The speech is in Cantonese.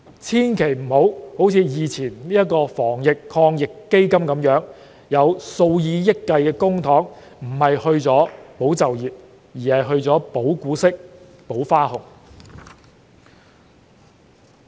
千萬不要像先前的防疫抗疫基金那樣，有數以億元計公帑不是用於"保就業"，而是用於"保股息"、"保花紅"。